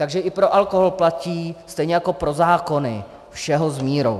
Takže i pro alkohol platí stejně jako pro zákony - všeho s mírou.